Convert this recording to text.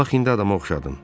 Bax, indi adama oxşadın.